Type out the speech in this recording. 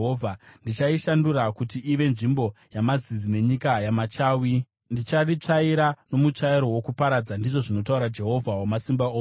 “Ndichaishandura kuti ive nzvimbo yamazizi nenyika yamachawi; ndicharitsvaira nomutsvairo wokuparadza,” ndizvo zvinotaura Jehovha Wamasimba Ose.